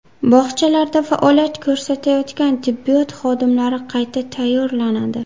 Bog‘chalarda faoliyat ko‘rsatayotgan tibbiyot xodimlari qayta tayyorlanadi.